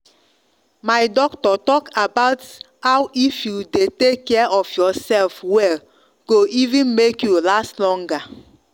my doctor talk about how if you dey take care of yourself well go even make you last longer